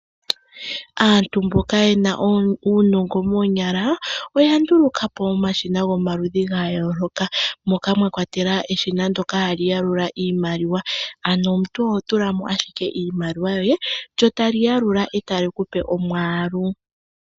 Aantu mboka yena uunongo moonyala oya nduulukapo omashina gomaludhi gayooloka, moka mwakwatelwa eshina ndyoka hali yalula iimaliwa, ano omuntu oho tulamo ashike iimaliwa yoye lyo tali yalula, eta li kupe omwaalu.